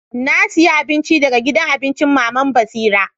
Na aiya abincin daga gidan abincin mama'n Basira.